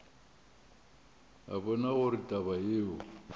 a bona gore taba yeo